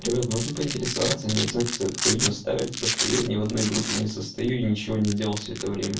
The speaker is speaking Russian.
привет можно поинтересоваться они оценки за эту хуйню ставят просто я ни в одной группе не состою и ничего не делал всё это время